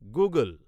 Google